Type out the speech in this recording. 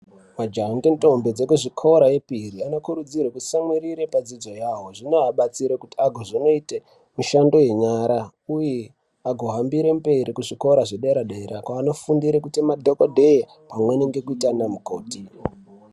Majaha nendombi dzezvikora zvepiri vanokurudzirwa kutsamwirira padzidzo yawo zvinoabatsire pakuite mabasa enyara uye pakuhambire mberi pazvikora zvederadera kwanofundire kuite madhokoteya amweni kuite ana mukoti